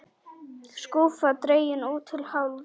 Skúffa dregin út til hálfs.